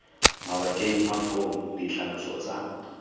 mabakeng a foo ditlhaloso tsa